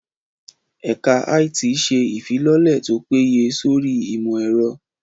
Ẹ̀ka IT ṣe ìfilọ́lẹ̀ tó péye sórí ìmọ̀ ẹ̀rọ